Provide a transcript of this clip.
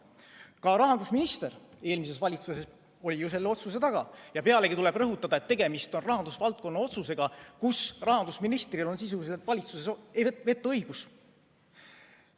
Ka eelmise valitsuse rahandusminister oli ju selle otsuse taga ja pealegi tuleb rõhutada, et tegemist on rahandusvaldkonna otsusega, mille tegemisel rahandusministril on sisuliselt valitsuses vetoõigus.